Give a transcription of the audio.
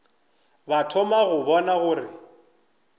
ba thoma go bona gore